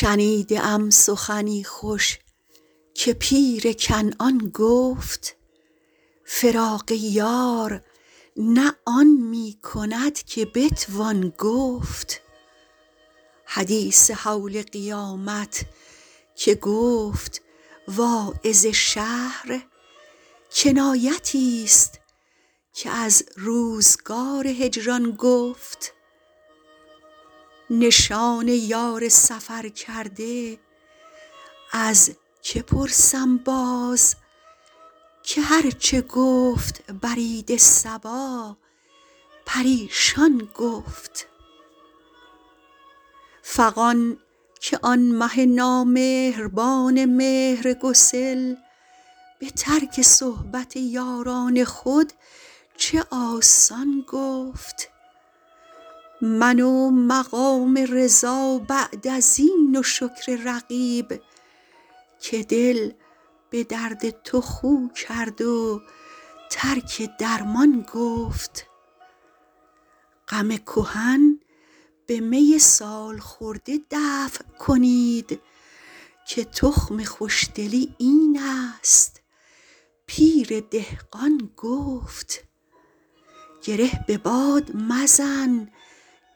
شنیده ام سخنی خوش که پیر کنعان گفت فراق یار نه آن می کند که بتوان گفت حدیث هول قیامت که گفت واعظ شهر کنایتی ست که از روزگار هجران گفت نشان یار سفرکرده از که پرسم باز که هر چه گفت برید صبا پریشان گفت فغان که آن مه نامهربان مهرگسل به ترک صحبت یاران خود چه آسان گفت من و مقام رضا بعد از این و شکر رقیب که دل به درد تو خو کرد و ترک درمان گفت غم کهن به می سال خورده دفع کنید که تخم خوش دلی این است پیر دهقان گفت گره به باد مزن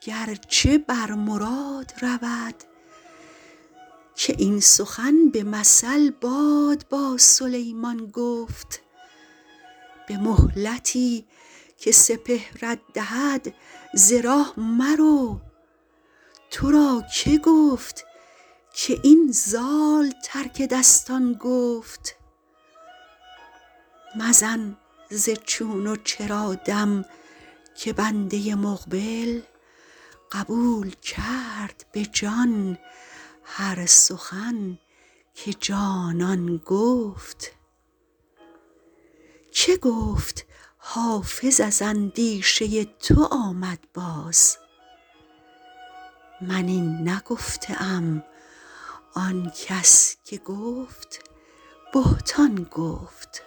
گر چه بر مراد رود که این سخن به مثل باد با سلیمان گفت به مهلتی که سپهرت دهد ز راه مرو تو را که گفت که این زال ترک دستان گفت مزن ز چون و چرا دم که بنده مقبل قبول کرد به جان هر سخن که جانان گفت که گفت حافظ از اندیشه تو آمد باز من این نگفته ام آن کس که گفت بهتان گفت